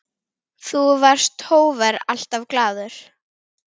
Þú varst hógvær, alltaf glaður.